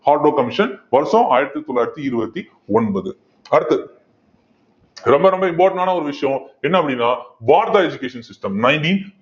commission வருஷம் ஆயிரத்தி தொள்ளாயிரத்தி இருபத்தி ஒன்பது அடுத்தது ரொம்ப ரொம்ப important ஆன ஒரு விஷயம் என்ன அப்படின்னா education system nineteen